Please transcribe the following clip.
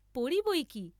পড়ি বইকি?